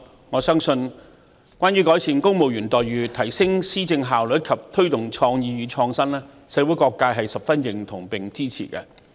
我相信關於改善公務員待遇，提升施政效率，以及推動創意與創新，社會各界是十分認同和支持的。